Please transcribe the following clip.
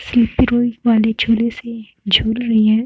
Sleeper roll वाले झूले से झूल रही हैं।